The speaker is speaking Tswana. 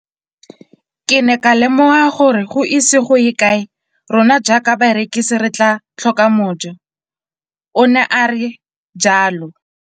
Ke ne ka lemoga gore go ise go ye kae rona jaaka barekise re tla tlhoka mojo, o ne a re jalo.